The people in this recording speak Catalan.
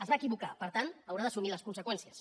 es va equivocar per tant n’haurà d’assumir les conseqüències